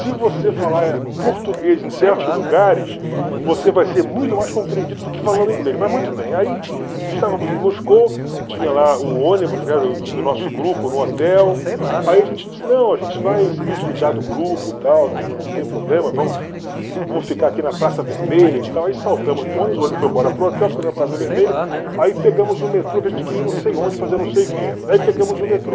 se você falar eh português em certos lugares, você vai ser muito mais compreendido do que falando inglês, mas muito bem, aí estávamos em Moscou, tinha lá o ônibus, né, do do nosso grupo no hotel, aí a gente disse, não, a gente vai se desligar do grupo e tal, não não tem problema, vamos vamos ficar aqui na Praça Vermelha e tal, aí saltamos do ônibus, o ônibus foi embora para o hotel, ficamos na Praça Vermelha, aí pegamos o metrô, que a gente queria ir não sei onde, fazer não sei o que, aí pegamos o metrô,